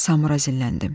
Samura zilləndim.